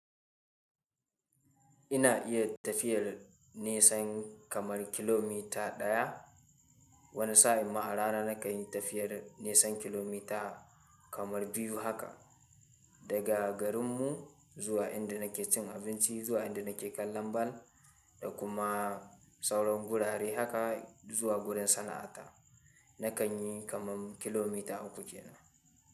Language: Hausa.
Ina iya tafiyar nesan kamar kilomita ɗaya, wani sa'in ma arana na kan yi tafiyar nesa kilomita kamar biyu haka. Daga garin mu zuwa inda na ke cin abinci, zuwa inda na ke kallon bal da kuma sauran gurare haka zuwa gurin sana'ata, na kan yi kaman kilomita uku kenan.